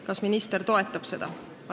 Kas minister toetab seda?